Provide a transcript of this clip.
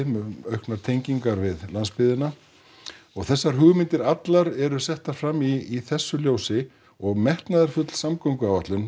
með auknar tengingar við landsbyggðina og þessar hugmyndir allar eru settar fram í þessu ljósi og metnaðarfull samgönguáætlun